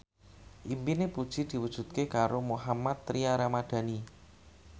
impine Puji diwujudke karo Mohammad Tria Ramadhani